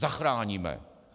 Zachráníme!